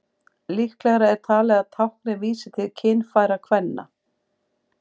Líklegra er talið að táknið vísi til kynfæra kvenna.